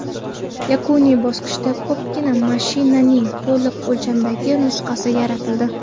Yakuniy bosqichda ko‘pikdan mashinaning to‘liq o‘lchamdagi nusxasi yaratildi.